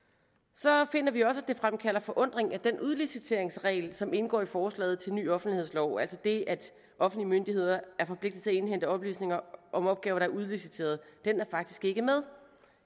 så finder vi også at det fremkalder forundring at den udliciteringsregel som indgår i forslaget til ny offentlighedslov altså det at offentlige myndigheder er forpligtet til at indhente oplysninger om opgaver der er udliciteret faktisk ikke er med